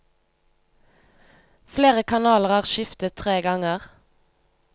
Flere kanaler er skiftet tre ganger.